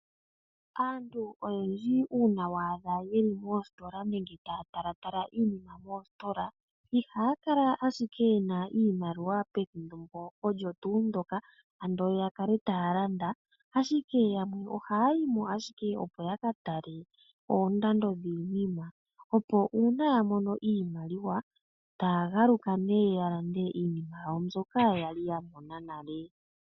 Aantu oyendji una wa adha yeli moositola nenge taya talatala iinima moositola ihaya kala ashike yena iimaliwa pethimbo olyo tuu ndoka ando ya kale taya landa ,Ashike yamwe ohaya yi mo ashike opo ya katale oondando dhiinima opo una ya mono iimaliwa taya galuka nee ya lande iinima yawo mbyoka ya mona nale.